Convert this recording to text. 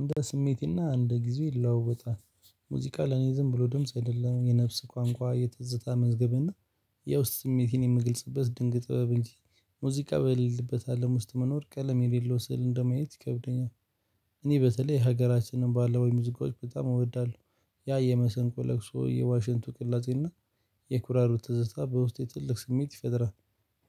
እንደ ስሜቴና እንደ ጊዜ ይለዋወጣል። ሙዚቃ ለኔ ዝም ብሎ ድምጽ አይደለም። የነፍስ ቋንቋ፣ የትዝታ መዝገብ እና ያው ስሜቴን የምግልጽበት ሙዚቃ በልልበታለም አለም ውስጥ መኖር ቀለም የሌለው ስዕል እንደማየት ይከብደኛል። እኔ በተለይ ሀገራችንን ባለው ወይ ሙዚቃዎች በጣም እወዳለሁ። ያ የመሰንቆ ለቅሶ የዋሽንቱ ቅላጼና የኩራሩት ትዝታ በውስጤ ትልቅ ስሜት ይፈጥራል።